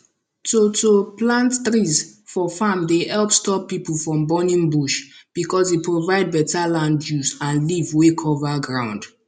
to to plant trees for farm dey help stop people from burning bush because e provide better land use and leaf wey cover ground